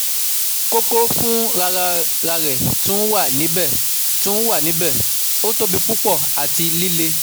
Koko fun rararẹ tun wa nibẹ, tun wa nibẹ, o tobi pupọ ati lile